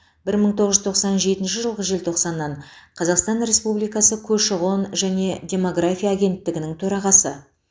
бір мың тоғыз жүз тоқсан жетінші жылғы желтоқсаннан қазақстан республикасы көші қон және демография агенттігінің төрағасы